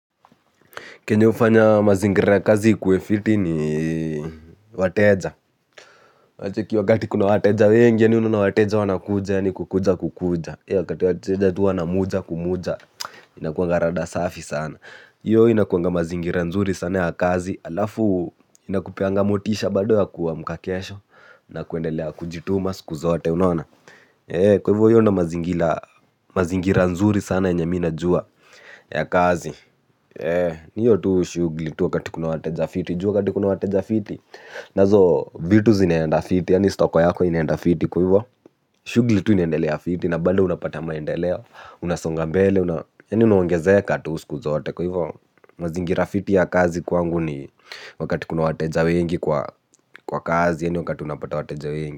Kenye hufanya mazingira na kazi ikuwe fiti ni wateja. Unacheki wakati kuna wateja wengi yani unaona wateja wana kuja ya ni kukuja kukuja. Wakati wateja tu wana muja ku muja inakuanga rada safi sana. Hiyo inakuanga mazingira nzuri sana ya kazi alafu inakupeanga motisha bado ya kuwa amka kesho na kuendelea kujituma siku zote unaona. Kwaivyo hiyo ndio mazingira nzuri sana yenye mi najua ya kazi. Ni hiyo tu shughuli tu wakati kuna wateja fiti. Juu wakati kuna wateja fiti. Nazo vitu zineenda fiti. Yani stoko yako inenda fiti kwa hivyo. Shughuli tu inendelea fiti. Na bado unapata maendeleo. Unasonga mbele. Yani unaongezeka tu siku zote kwa hivyo. Mazingira fiti ya kazi kwangu ni wakati kuna wateja wengi kwa kazi. Yani wakati unapata wateja wengi.